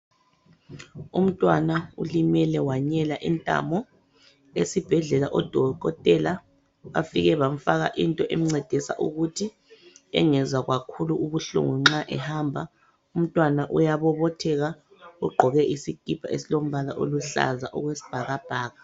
Umntwana ulimele wanyela intamo. Esibhedlela odokotela bafike bamfaka into emncedisa ukuthi engezwa kakhulu ubuhlungu nxa ehamba. Umntwana uyabobotheka ugqoke isikipa esilombala oluhlaza okwesibhakabhaka.